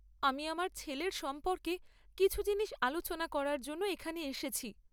আমি আমার ছেলের সম্পর্কে কিছু জিনিস আলোচনা করার জন্য এখানে এসেছি।